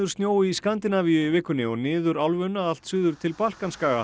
snjó í Skandinavíu í vikunni og niður álfuna allt suður til